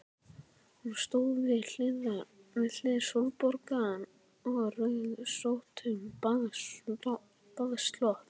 Hún stóð við hlið Sólborgar í rauðrósóttum baðslopp.